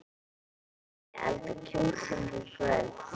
Viljiði elda kjúkling í kvöld?